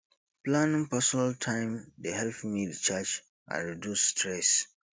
planning personal time dey help me recharge and reduce stress